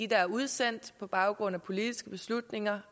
der er udsendt på baggrund af politiske beslutninger